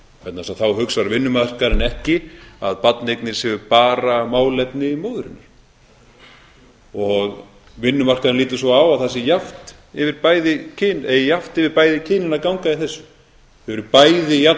vegna þess að þá hugsar vinnumarkaðurinn ekki að barneignir séu bara málefni móðurinnar og vinnumarkaðurinn lítur svo á að það eigi jafnt yfir bæði kynin að ganga í þessu þau eru bæði jafn